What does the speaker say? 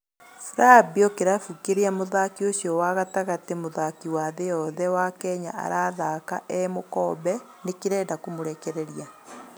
Flabio, kĩrabu kĩria mũthaki ũcio wa gatagatĩ, mũthaki wa thĩĩ yothe, wa Kenya arathaka e mũkombe, nĩ kĩrenda kũmũrekereria.